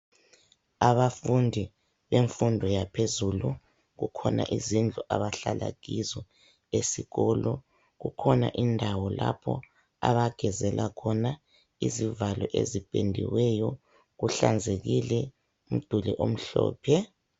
Abafundi bemfundo yaphezulu. Kukhona izindlu abahlala kizo esikolo, kukhona indawo lapho abagezela khona. Izivalo ezipendiweyo, kuhlanzekile umduli omhlophe.